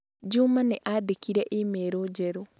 Juma nĩandĩkĩire e-mail njerũ